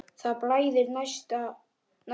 Það blæðir næsta lítið.